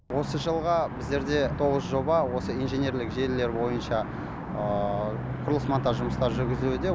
осы жылға біздерде тоғыз жоба осы инженерлік желілер бойынша құрылыс монтаж жұмыстары жүргізілуде